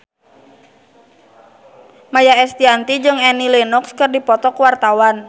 Maia Estianty jeung Annie Lenox keur dipoto ku wartawan